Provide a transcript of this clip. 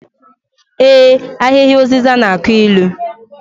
Ee, Ahịhịa ụzịza na-akụ ilu